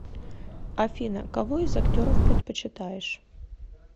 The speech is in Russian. афина кого из актеров предпочитаешь